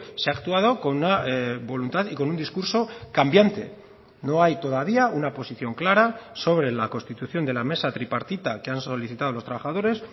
se ha actuado con una voluntad y con un discurso cambiante no hay todavía una posición clara sobre la constitución de la mesa tripartita que han solicitado los trabajadores